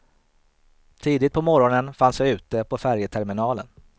Tidigt på morgonen fanns jag ute på färjeterminalen.